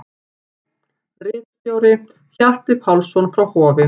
Ritstjóri: Hjalti Pálsson frá Hofi.